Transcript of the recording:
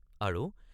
আৰু